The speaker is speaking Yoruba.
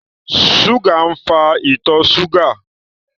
Ṣúgà ń fa ìtọ̀ ṣúgà